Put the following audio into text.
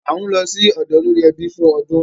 À ń lọ sí ọ̀dọ̀ olórí ẹbí fún ọdún